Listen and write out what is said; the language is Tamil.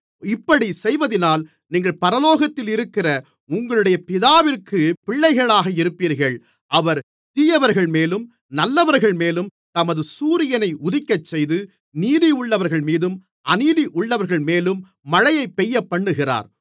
இப்படிச் செய்வதினால் நீங்கள் பரலோகத்திலிருக்கிற உங்களுடைய பிதாவிற்குப் பிள்ளைகளாக இருப்பீர்கள் அவர் தீயவர்கள்மேலும் நல்லவர்கள்மேலும் தமது சூரியனை உதிக்கச்செய்து நீதியுள்ளவர்கள்மேலும் அநீதியுள்ளவர்கள்மேலும் மழையைப் பெய்யப்பண்ணுகிறார்